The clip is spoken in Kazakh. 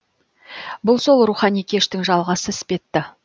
бұл сол рухани кештің жалғасы іспетті